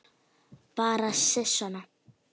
Bara sisona.